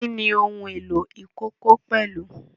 Kí ni ohun èlò ìkókó pẹ̀lú?